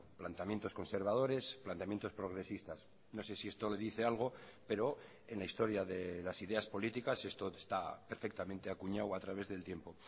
planteamientos conservadores planteamientos progresistas no sé si esto le dice algo pero en la historia de las ideas políticas esto está perfectamente acuñado a través del tiempo